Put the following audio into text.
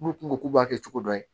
N'u tun ko k'u b'a kɛ cogo dɔ la